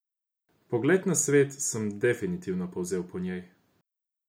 Pogled na svet sem definitivno povzel po njem.